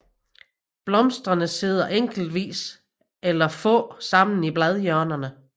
Blomsterne sidder enkeltvis eller få sammen i bladhjørnerne